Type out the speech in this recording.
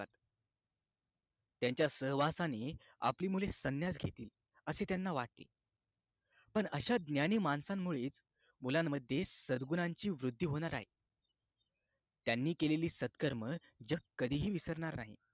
त्यांच्या सहवासाने आपली मुले संन्यास घेतील अस त्यांना वाटते पण अशा ज्ञानी माणसांमुळेच मुलांमध्ये सद्गुणांची वृद्धी होणार आहे त्यांनी केलेली सत्कर्म जग कधीही विसरणार नाही